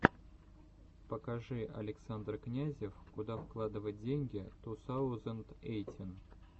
покажи александр князев куда вкладывать деньги ту саузенд эйтин